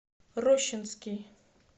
рощинский